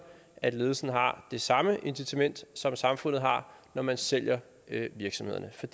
at ledelsen har det samme incitament som samfundet har når man sælger virksomhederne for